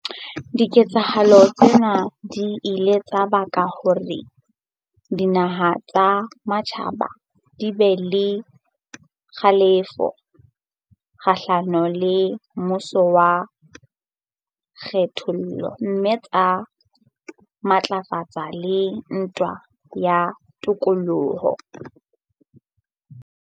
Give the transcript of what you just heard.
Diketsahalo tsena di ile tsa baka hore dinaha tsa matjhaba di be le kgalefo kgahlano le mmuso wa kgethollo mme tsa matlafatsa le ntwa ya tokoloho.